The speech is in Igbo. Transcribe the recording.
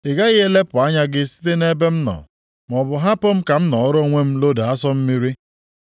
Ị gaghị elepụ anya gị site nʼebe m nọ, maọbụ hapụ m ka m nọọrọ onwe m loda asụ mmiri?